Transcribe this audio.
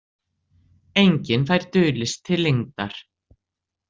Enginn fær dulist til lengdar.